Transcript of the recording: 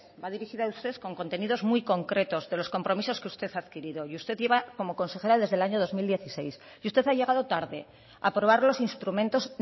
va dirigida a usted con contenidos muy concretos de los compromisos que usted ha adquirido y usted lleva como consejera desde el año dos mil dieciséis y usted ha llegado tarde a probar los instrumentos